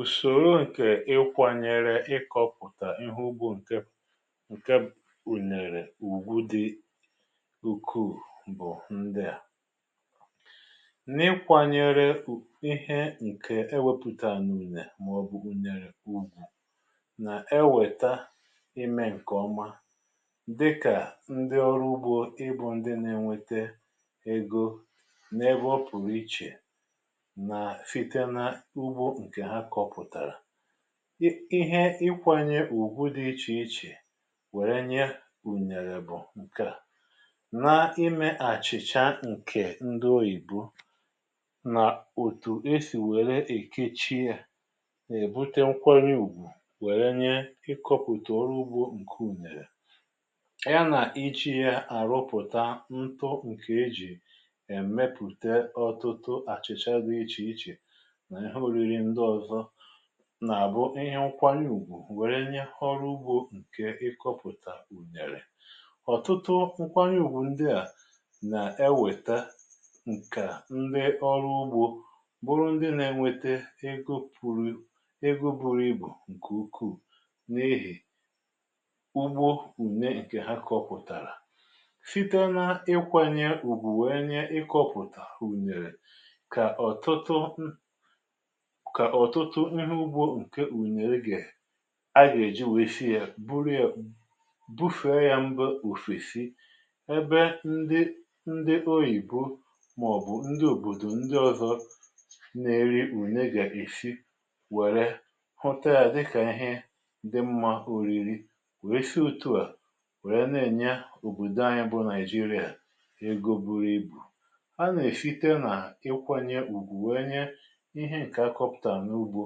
ùsòro ǹkè ị kwȧnyere ịkọ̇pùtà ihe ugbȯ ǹke, ǹke ùnèrè ùgwu dị ukwu̇ bụ̀ ndị à: N’ikwȧnyere ihe ǹke ewepụ̀utà anà ùne màọ̀bụ̀ ùnèrè ugbȯ nà-ewèta imė ǹkèọma dịkà, ndị ọrụ ugbȯ ịbụ̇ ndị na-enwėte ego n’ebe ọ pụ̀rụ̀ ichè nà site n'ugbo nkè hà kọpùtara. I Ihe ikwanye ùgwụ dị ichè ichè wère nye ùnèrè bụ̀ ǹkèa; Na imė àchị̀cha ǹkè ndị oyìbo, nà òtù esì wère èkechiė yà, è èbute nkwanye ùgwụ wère nye ikọ̇pụ̀tù ọrụ ugbȯ ǹke ùnèrè, ya nà iji̇ ya àrụpụ̀ta ǹtụ ǹkè ejì èmepùte ọ̀tụtụ àchìcha dị ichè ichè nà-ihe oriri ǹdi ọzọ, na-àbụ ihe nkwanye ùgwù wèrè nye ọrụ ugbȯ ǹkè ị kọpụ̀tà yèrè. ọ̀tụtụ nkwanye ùgwù ndị à nà-ewèta ǹkà ndị ọrụ ugbȯ bụrụ ndị nà-enwete ego pụ̇rụ̇, ego buru ibù ǹkè ukwuu, n’ihì ugbo ùne ǹkè ha kọpụ̀tàrà. Site n’ịkwȧnye ùgwù wèe nye ị kọpụ̀tà ùnèrè kà ọ̀tụtụ, m kà ọ̀tụtụ ihẹ ugbo ǹkẹ ùnèrè ga, a gà-èji wee si ya, buru ya bufèe ya mba òfèsi, ebe ndị ndị oyìbo màọ̀bụ̀ ndị òbòdò ndị ọzọ, na-eri ùne gà èsi wèrè ghụtȧ ya dịkà ihe ndị mmȧ o riri. Wèe si òtù a wèrè na-ènye òbòdò anyị bụ Nàịjirịa egȯ buru ibù. A nà-èsite nà ịkwanye ùgwù wee nye ìhe nkè akọputara n'ụgbo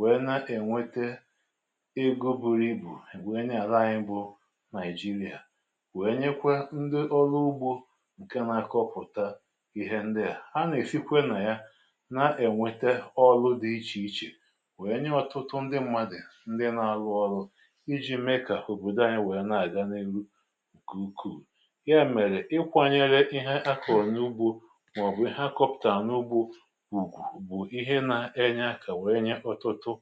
wèè nà-ènwetà ego buru ibù wee nye àla anyị bụ Nàịjirịa, wee nyekwa ǹdi ọlụ ugbȯ ǹke na-akọpụ̀ta ihe ndịà. A nà-èsikwe nà ya na-enweta ọlụ dị ichè ichè, wee nye ọtụtụ ndị mmadụ̀ ndị na-alụ ọlụ, iji̇ mee kà òbòdò anyị wee nà-àganihu nkè ùkwù. Ya mèrè ikwanyere ihe a kọ̀rọ̀ n’ugbȯ, màọ̀bụ̀ ìhe a kọpụ̀tàra n’ugbȯ ùgwu, bụ ìhe n'ènye akȧ wèè nye ototo.